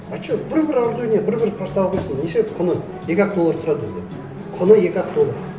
а что бір бір ардуино бір бір партаға қойсын неше құны екі ақ доллар тұрады ондай құны екі ақ доллар